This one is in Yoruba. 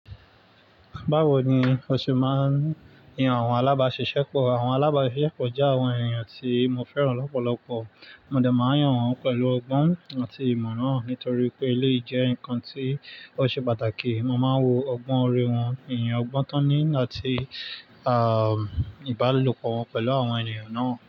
Báwo ni o ṣe máa ń yan àwọn alábáṣiṣẹ́pọ̀? Àwọn alábáṣiṣẹ́pọ̀ jẹ́ àwọn èèyàn tí mo fẹ́ràn lọ́pọ̀lọpọ̀. Mo dẹ̀ máa yan wọ́n pẹ̀lú ọgbọ́n àti ìmọ̀rán nítorí pé elé jẹ́ nǹkan tí ó ṣe pàtàkì. Mo máa ń wo ọgbọ́n orí wọ́n, ìyàn ọgbọ́n tán ní àti, ìbálòpọ̀ wọn pẹ̀lú àwọn ènìyàn náà.